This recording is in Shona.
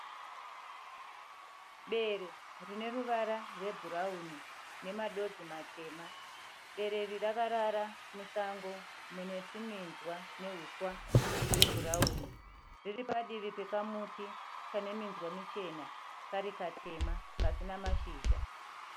Bere rine ruvara rwebhurauni nemadonzi matema. Bere iri rakara musango mune tuminzwa nehuswa hwe bhurauni. Riri padivi pekatumuti kane minzwa michena, Kari katema kasina mashizha.